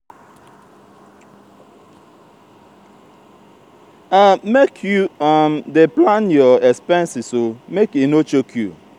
make you um dey plan your expenses o make e no choke you.